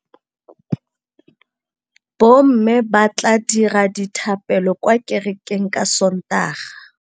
Bommê ba tla dira dithapêlô kwa kerekeng ka Sontaga.